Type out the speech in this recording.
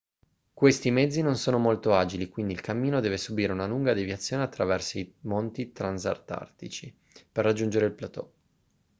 questi mezzi non sono molto agili quindi il cammino deve subire una lunga deviazione attorno ai monti transantartici per raggiungere il plateau